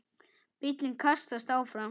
Bíllinn kastast áfram.